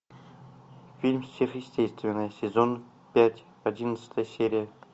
фильм сверхъестественное сезон пять одиннадцатая серия